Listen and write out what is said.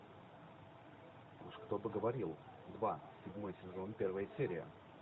уж кто бы говорил два седьмой сезон первая серия